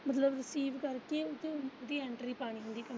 ਮਤਲਬ receive ਕਰਕੇ ਉਹਦੀ entry ਪਾਉਣੀ।